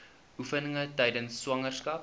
oefeninge tydens swangerskap